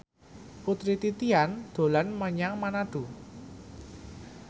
Putri Titian dolan menyang Manado